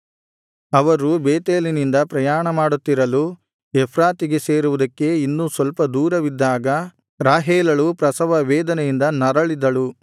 ಅವರು ಬೇತೇಲಿನಿಂದ ಪ್ರಯಾಣಮಾಡುತ್ತಿರಲು ಎಫ್ರಾತಿಗೆ ಸೇರುವುದಕ್ಕೆ ಇನ್ನೂ ಸ್ವಲ್ಪ ದೂರವಿದ್ದಾಗ ರಾಹೇಲಳು ಪ್ರಸವ ವೇದನೆಯಿಂದ ನರಳಿದಳು